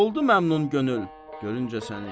Oldu məmnun könül görüncə səni.